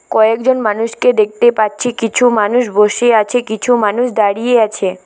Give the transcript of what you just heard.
কয়েকজন মানুষকে দেখতে পাচ্ছি কিছু মানুষ বসে আছে কিছু মানুষ দাঁড়িয়ে আছে।